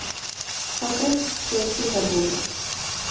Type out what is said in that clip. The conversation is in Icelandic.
Það breyttist svo í síðari hálfleik.